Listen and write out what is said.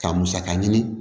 Ka musaka ɲini